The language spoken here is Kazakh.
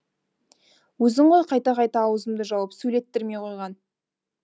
өзің ғой қайта қайта аузымды жауып сөйлеттірмей қойған